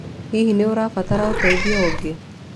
Hihi nĩ ũrabatara ũteithio ũngĩ?